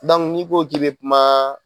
ni ko k'i be kuma